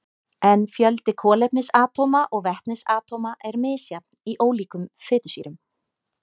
En fjöldi kolefnisatóma og vetnisatóma er misjafn í ólíkum fitusýrum.